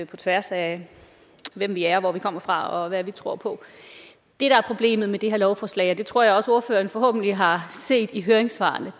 på tværs af hvem vi er hvor vi kommer fra og hvad vi tror på det der er problemet med det her lovforslag og det tror jeg også ordføreren forhåbentlig har set i høringssvarene